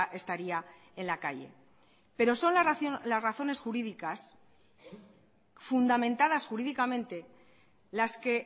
estaría en la calle pero son las razones jurídicas fundamentadas jurídicamente las que